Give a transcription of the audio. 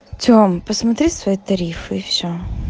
тём посмотри свои тарифы и все